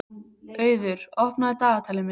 Auður, opnaðu dagatalið mitt.